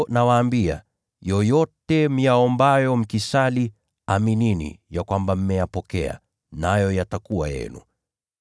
Kwa sababu hiyo nawaambia, yoyote mtakayoyaomba mkisali, aminini ya kwamba mmeyapokea, nayo yatakuwa yenu.